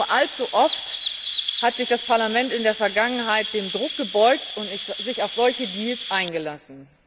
Nur allzu oft hat sich das Parlament in der Vergangenheit dem Druck gebeugt und sich auf solche Deals eingelassen.